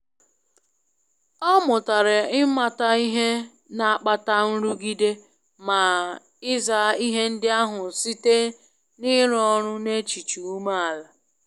Ọ mụtara ịmata ihe na akpata nrụgide ma ị za ihe ndi ahu site n'ịrụ ọrụ n'echiche ume ala.